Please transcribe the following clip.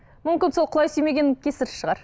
мүмкін сол құлай сүймегеннің кесірі шығар